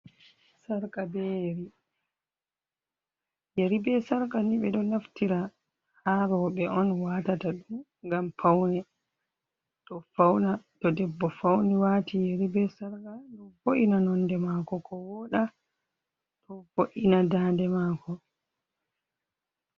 "Sarka be yeri"yeri be sarka ni be do naftira ha roɓe on watata ɗum ngam paune ɗo fauna to debbo fauni wati yeri be sarka do vo’ina nonɗe mako ko woɗa to vo’ina daɗe mako.